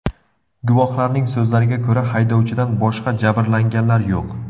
Guvohlarning so‘zlariga ko‘ra, haydovchidan boshqa jabrlanganlar yo‘q.